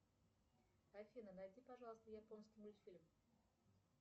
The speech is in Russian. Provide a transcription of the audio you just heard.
афина найди пожалуйста японский мультфильм